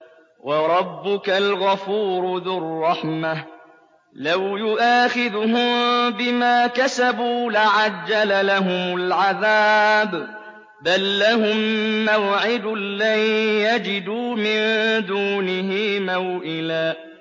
وَرَبُّكَ الْغَفُورُ ذُو الرَّحْمَةِ ۖ لَوْ يُؤَاخِذُهُم بِمَا كَسَبُوا لَعَجَّلَ لَهُمُ الْعَذَابَ ۚ بَل لَّهُم مَّوْعِدٌ لَّن يَجِدُوا مِن دُونِهِ مَوْئِلًا